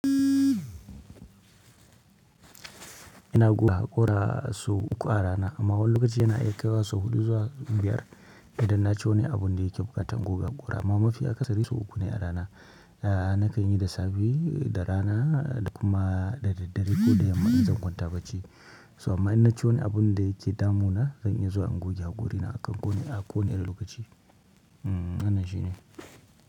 Ina guga ƙura sau uku a rana amma wani lokaci yana iya kaiwa sau huɗu zuwa biyar idan na ci wani abun da yake buƙatan guga ƙura. Amma mafi akasari sau uku ne a rana. Na kan yi da safe, da rana da kuma da daddare ko da yamma in zan kwanta bacci. Toh amma inna ci wani abunda yake damuna zan iya zuwa in goge hakorina a kowani lokaci wannan shine.